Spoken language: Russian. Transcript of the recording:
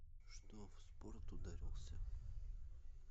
что в спорт ударился